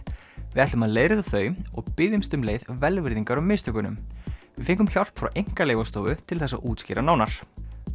við ætlum að leiðrétta þau og biðjumst um leið velvirðingar á mistökunum við fengum hjálp frá Einkaleyfastofunni til þess að útskýra nánar